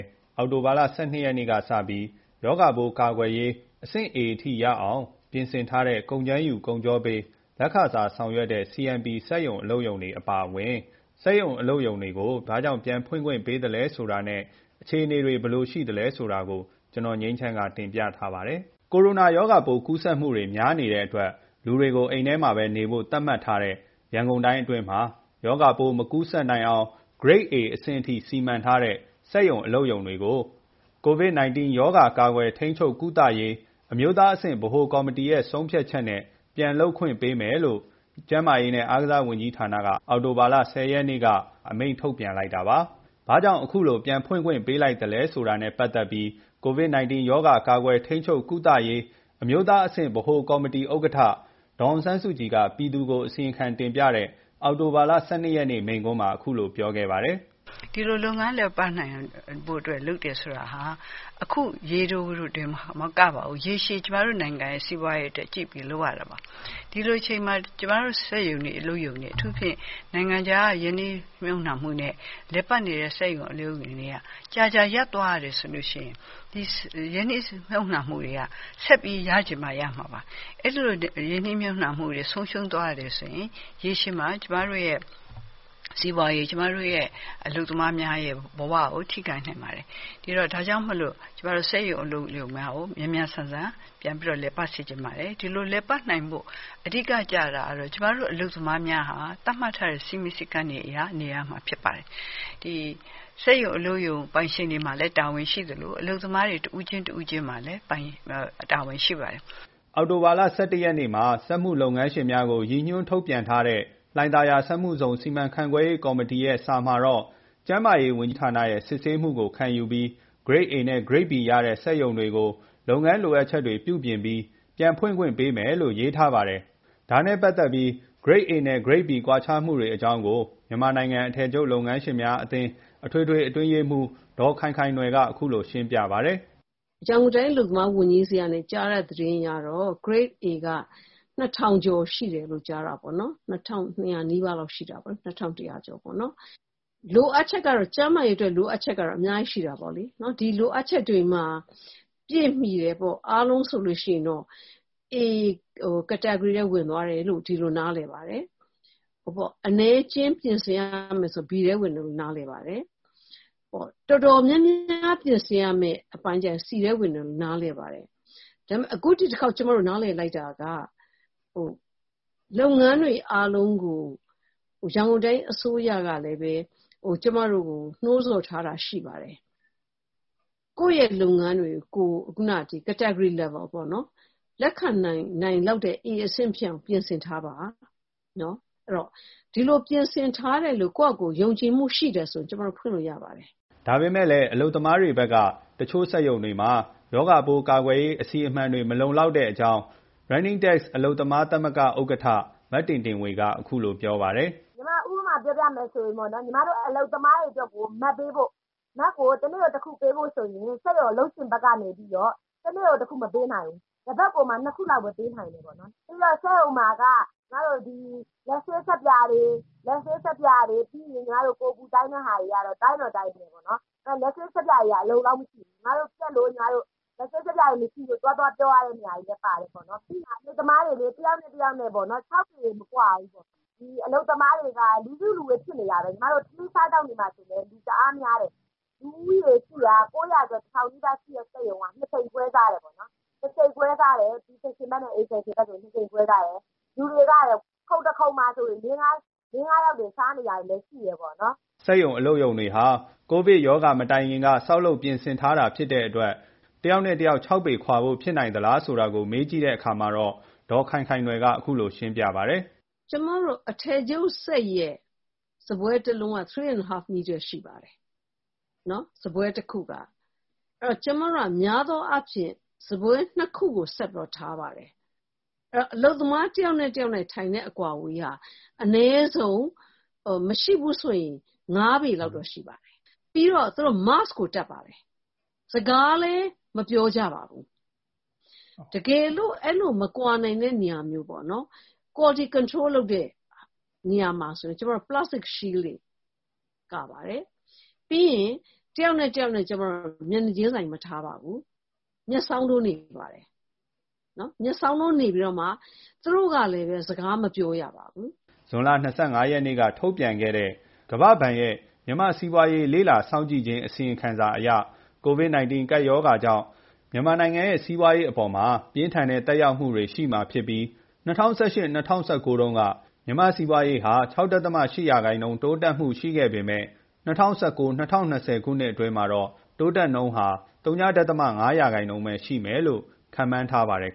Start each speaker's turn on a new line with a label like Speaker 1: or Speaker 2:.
Speaker 1: း အောက်တိုဘာလ ၁၂ ရက် တနင်္လာနေ့က စပြီး ရောဂါ ကာကွယ်ရေး လိုအပ်ချက်ပြည့်မှီတဲ့ အဆင့် A အထိ ရအောင် ပြင်ဆင်ထားတဲ့ ကုန်ကြမ်းယူ၊ ကုန်ချောပေး လက်ခစားဆောင်ရွက်တဲ့ CMP အပါအဝင် စက်ရုံ၊ အလုပ်ရုံတွေကို ပြန်ဖွင့်ခွင့် ပေးလိုက်တဲ့ အခြေအနေ အသေးစိတ် ကိုငြိမ်းချမ်းက တင်ပြထားပါတယ်။ ရောဂါပိုးကူးစက်မှုတွေ များနေတဲ့ အတွက် လူတွေကို အိမ်ထဲမှာပဲ နေဖို့ သတ်မှတ်ထားတဲ့ ရန်ကုန်တိုင်းအတွင်းမှာရောဂါပိုး မကူးစက်နိုင်အောင် Grade A အဆင့် အထိ စီမံထားတဲ့ စက်ရုံတွေ၊ အလုပ်ရုံတွေကို COVID-19 ရောဂါ ကာကွယ်၊ထိန်းချုပ်၊ ကုသရေး အမျိုးသားအဆင့်ဗဟိုကော်မတီ ရဲ့ ဆုံးဖြတ်ချက် နဲ့ ပြန်လုပ်ပိုင်ခွင့်ပေးမယ်လို့ ကျန်းမာရေး နဲ့ အားကစား ဝန်ကြီးဌာနက အောက်တိုဘာလ ၁၀ ရက်နေ့ က အမိန့်ထုတ်ပြန်လိုက်တာပါ။ ဘာကြောင့် အခုလို ပြန်ဖွင့်ခွင့်ပေးလိုက်တယ် ဆိုတာ နဲ့ ပတ်သက်ပြီး COVID-19 ရောဂါ ကာကွယ်၊ ထိန်းချုပ်၊ ကုသရေး အမျိုးသားအဆင့်ဗဟိုကော်မတီဥက္ကဋ္ဌ ဒေါ်အောင်ဆန်းစုကြည် က ပြည်သူကို အစီရင်ခံတင်ပြတဲ့ အောက်တိုဘာလ ၁၂ ရက်နေ့ မိန့်ခွန်းမှာ အခုလို ပြောခဲ့ပါတယ်။ ”
Speaker 2: ဒီလို လုပ်ငန်း လည်ပတ်နိုင်ဖို့အတွက် လုပ်တယ်ဆိုတာက အခုရေတို တင်မကပါဘူး။ ရေရှည်ကျမတို့ နိုင်ငံရဲ့ စီးပွားရေးအတွက် ကြည့်ပြီးတော့ လုပ်ရပါတယ်။ ဒီလိုအချိန်မှာ ကျမတို့ စက်ရုံတွေ၊ အလုပ်ရုံတွေ ကြာကြာရပ်သွားရတယ်ဆိုရင် အဲ့ဒီရင်းနှီးမြှုပ်နှံမှုတွေက ဆက်ပြီးရချင်မှ ရမှာပါ။ အဲ့ဒီလိုနဲ့ ရင်းနှီးမြှုပ်နှံမှုတွေ က ဆုံးရှုံးသွားရတယ်ဆိုရင် ရေရှည်မှာကျမတို့ရဲ့ စီးပွားရေး၊ ကျမတို့ အလုပ်သမားများရဲ့ ဘဝကို ထိခိုက်နိုင်ပါတယ်။ ဒါကြောင့် စက်ရုံ၊ အလုပ်ရုံများကိုမြန်မြန်ဆန်ဆန် ပြန်ပြီးတော့ လည်ပတ်စေချင်ပါတယ်။ ဒီလိုလည်ပတ်နိုင်ဖို့ အဓိက ကျတာကတော ကျမတို့ အလုပ်သမားများဟာ သတ်မှတ်ထားတဲ့ စည်းမျဉ်းစည်းကမ်းတွေအရနေရမှာ ဖြစ်ပါတယ်။စက်ရုံ၊ အလုပ်ရုံ ပိုင်ရှင်တွေ မှလည်း တာဝန်ရှိသလို အလုပ်သမား တဦးချင်း တဦးချင်းစီမှာလည်း တာဝန်ရှိပါတယ်
Speaker 1: ။” အောက်တိုဘာလ ၁၁ ရက်နေ့မှာ စက်မှုလုပ်ငန်းငန်းရှင်များကို ရည်ညွှန်းထုတ်ပြန်ထားတဲ့ လှိုင်သာယာ စက်မှုဇုန်စီမံခန့်ခွဲရေးကော်မတီ စာမှာတော့ ကျန်းမာရေးဝန်ကြီးဌာနရဲ့ စစ်ဆေးမှုကို ခံယူပြီး Grade A နဲ့ Grade B ရတဲ့ စက်ရုံတွေကိုပါလုပ်ငန်းလိုအပ်ချက်များကို ပြုပြင်ပြီး ပြန်ဖွင့်ခွင့်ပေးမယ်လို့ ရေးထားပါတယ်။ ဒါ နဲ့ ပတ်သက်ပြီး Grade A နဲ့ Grade B ကွာခြားမှုတွေ အကြောင်းကို မြန်မာနိုင်ငံအထည်ချုပ်လုပ်ငန်းရှင်များအသင်း အထွေထွေ အတွင်းရေးမှူး ဒေါ်ခိုင်ခိုင်နွယ်က အခုလို ရှင်းပြပါတယ်။
Speaker 3: “ရန်ကုန်တိုင်း အလုပ်သမားဝန်ကြီးဆီက ကြားတဲ့သတင်းအရတော့ Grade A က ၂၀၀၀ ကျော် ရှိတယ်လို့ ကြားတာပေါ့နော်။ ၂၂၀၀ နီးပါးတော့ ရှိတာပေါ့နော်။ ကျန်းမာရေးအတွက် လိုအပ်ချက်တော့ အများကြီးရှိတာပေါ့နော်။ ဒီလိုအပ်ချက်တွေ ပြည့်မှီတယ်ဆိုရင်ပေါ့။ အားလုံးဆိုရင်တော့ A category ထဲဝင်သွားတယ်လို့ ဒီလိုနားလည်ပါတယ်။ အနည်းအကျဉ်း ပြင်ဆင်ရမယ်ဆိုရင်တော့B ထဲ ဝင်တယ်လို့ နားလည်ပါတယ်။ တော်တော်များများ ပြင်ဆင်ရမယ့် အပိုင်းဆိုရင် C ထဲဝင်တယ်လို့ နားလည်ပါတယ်။ အခု ဒီတစ်ခေါက် ကျမတို့ နားလည်လိုက်တာက လုပ်ငန်းတွေ အားလုံးကို ရန်ကုန်တိုင်း အစိုးရ ကပဲလည်း ကျမတို့ကို နှိုးဆော်ထားတာ ရှိပါတယ်။ ကိုယ့်ရဲ့ လုပ်ငန်းတွေကို ကိုယ် ခုနက Category level ပေါ့နော် လက်ခံနိုင်လောက်တဲ့ A အဆင့် ဖြစ်အောင် ပြင်ဆင်ထားပါ။ ဒီလို ပြင်ဆင်ထားတယ်လို့ ကိုယ်ဘာသာကိုယ် ယုံကြည်မှုရှိရင် ကျမတို့ ဖွင့်လို့ရပါတယ်
Speaker 1: ။” ဒါပေမဲ့လည်း အလုပ်သမားတွေဘက်ကလည်း တချို့စက်ရုံတွေမှာ ရောဂါပိုး ကာကွယ်ရေး အစီအမံတွေ မလုံလောက်တဲ့အကြောင်း Running Tex အလုပ်သမား သမဂ္ဂ ဥက္ကဋ္ဌ မတင်တင်ဝေက အခုလို ပြောပါတယ်။
Speaker 4: “ညီမ ဥပမာ ပြောပြမယ်ဆို ညီမတို့ အလုပ်သမားတွေ အတွက်ကို Mask ပေးဖို့၊ Mask ကို တနေ့ တခုပေးဖို့ ဆိုရင် စက်ရုံ အလုပ်ရှင်ဘက်နေပြီးတော့ တနေ့ကို တခုမပေးနိုင်ဘူး။ တပတ်ကိုမှ ၂ ခုလောက်ပဲပေးနိုင်တယ်။ ပြီးတော့ စက်ရုံမှာက ညီမတို့ ဒီ လက်ဆေး ဆပ်ပြာတွေ၊ ပြီးရင် ကိုယ် အပူတိုင်းတဲ့ဟာတွေ တိုင်းတော့ တိုင်းတယ်ပေါ့နော်။ လက်ဆေး ဆပ်ပြာတွေက အလုံအလောက်မရှိဘူး။ လက်ဆပ် ဆပ်ပြာရည် မရှိလို့ သွားသွား ပြောရတဲ့ နေရာတွေလည်း ပါတယ်ပေါ့နော်။ အလုပ်သမားတွေ တစ်ယောက် နဲ့ တစ်ယောက် ၆ ပေ မကွာဘူး။ ဒီ အလုပ်သမားတွေက လူစုလူဝေး ဖြစ်နေတာပဲ။ ညီမတို့ ထမင်းစားသောက်နေတာ ဆိုလည်း တအားများတယ်။ လူဦးရေ ၈၀၀ ကျော် ၉၀၀ - ၁၀၀၀ နီးပါး ရှိတဲ့ စက်ရုံက ၂ ချိန် ခွဲစားတယ်။ လူတွေက ခုံတခုံမှာ လေး ငါးယောက်တွေ စားနေတာတွေလည်း ရှိတယ်။
Speaker 1: ” စက်ရုံအလုပ်ရုံတွေဟာ ကိုဗစ် မတိုင်ခင်က ဆောက်လုပ် ပြင်ဆင်ထားတဲ့ဖြစ်တဲ့ တယောက် နဲ့ တယောက် ၆ ပေခွာဖို့ ဖြစ်နိုင်သလားဆိုတာ ကို မေးကြည့်တဲ့အခါမှာတော့ ဒေါ်ခိုင်ခိုင်နွယ်က အခုလို ပြောပါတယ်
Speaker 3: ။ “ကျမတို့ အထည်ချုပ်စက်ရဲ့ စားပွဲ ၁ လုံးက ၃.၅ မီတာ ရှိပါတယ်။ စားပွဲတခုက။ အများသောအားဖြင့် ကျမတို့က စားပွဲ ၂ ခုကို ဆက်ထားပါတယ်။ အလုပ်သမား တစ်ယောက် နဲ့ တယောက် ထိုင်တဲ့ အကွာအဝေးဟာ အနည်းဆုံး မရှိဘူးဆိုရင် ၅ ပေလောက်တော့ ရှိပါတယ်။ ပြီးတော့ သူတို့ Mask ကို တပ်ပါတယ်။ စကားလည်း မပြောကြပါဘူး။ တကယ်လို့ အဲ့လို မကွာနိုင်တဲ့ နေရာမျိုးမှာဆိုရင်တော့ Quality Control လုပ်တဲ့နေရာမှာ ဆိုရင် Plastic Shield တွေ ကာပါတယ်။ ပြီးရင် တယောက် နဲ့ တယောက် ကျမတို့ က မျက်နှာချင်းဆိုင် မထားပါဘူး။ မျက်စောင်းထိုး နေခိုင်းပါတယ်။ သူတို့ကလည်းပဲ စကားမပြောရပါဘူး။
Speaker 1: ” ဇွန်လ ၂၅ ရက် က ထုတ်ပြန်ခဲ့တဲ့ ကမ္ဘာ့ဘဏ်ရဲ့ မြန်မာ့စီးပွားရေးလေ့လာစောင့်ကြည့်ခြင်း အစီရင်ခံစာအရ ကိုဗစ် ၁၉ကပ်ရောဂါကြောင့် မြန်မာနိုင်ငံရဲ့ စီးပွားရေးအပေါ်ပြင်းထန်တဲ့ သက်ရောက်မှုတွေ ရှိမှာဖြစ်ပြီး ၂၀၁၈-၂၀၁၉တုန်းက မြန်မာ့စီးပွားရေးဟာ ၆.၈% တိုးတက်မှုနှုန်းရှိခဲ့ပေမဲ့၂၀၁၉ - ၂၀၂၀ ခုနှစ်အတွင်း တိုးတက်နှုန်းဟာ ဝ.၅% ပဲ ရှိမယ်လို့ ခန့်မှန်းထားပါတယ်